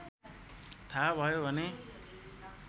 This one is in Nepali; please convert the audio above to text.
थाहा भयो भने